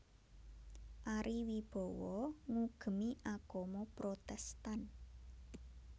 Ari Wibowo ngugemi agama Protèstan